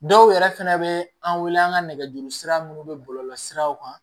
Dɔw yɛrɛ fɛnɛ bɛ an wele an ka nɛgɛjuru sira minnu bɛ bɔlɔlɔsiraw kan